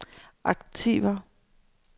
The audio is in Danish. aktiver